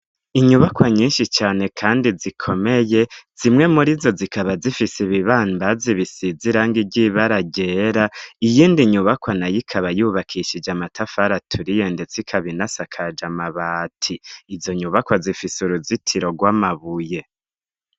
Inyubakwa nyinshi cane kandi zikomeye zimwe muri zo zikaba zifise ibibambazi bisize irangi ry'ibara ryera, iyindi nyubakwa nayo ikaba yubakishije amatafari aturiye ndetse ikaba inasakaje amabati, izo nyubakwa zifise uruzitiro rw'amabuye.